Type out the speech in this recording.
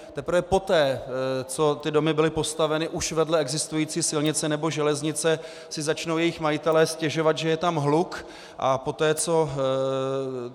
Teprve poté, co ty domy byly postaveny už vedle existující silnice nebo železnice, si začnou jejich majitelé stěžovat, že je tam hluk, a poté co...